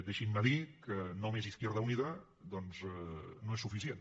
i deixin me dir que només izquierda unida no és suficient